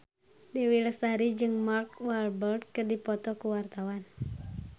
Dewi Lestari jeung Mark Walberg keur dipoto ku wartawan